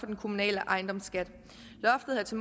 den kommunale ejendomsskat loftet havde til